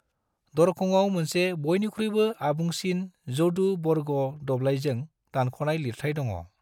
दरखङाव मोनसे बयनिख्रुइबो आबुंसिन जदु बर्ग दबलायजों दानखनाय लिरथाय दङ'।